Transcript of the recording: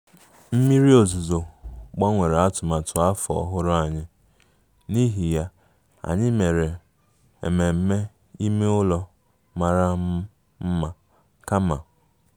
Mmiri ozuzo gbanwere atụmatụ afọ ọhụrụ anyị, n'ihi ya, anyị mere ememe ime ụlọ mara mma kama